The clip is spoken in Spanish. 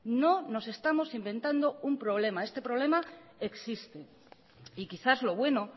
no nos estamos inventando un problema este problema existe y quizás lo bueno